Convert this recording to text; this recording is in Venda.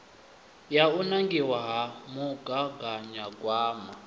ya u nangiwa ha mugaganyagwama